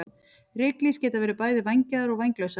Ryklýs geta verið bæði vængjaðar og vænglausar.